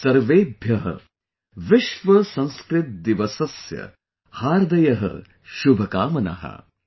Sarvebhyah Vishwa Sanskrit Disasasya Haardayaha Shubhkamanah